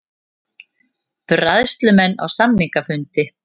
Bræðslumenn á samningafundi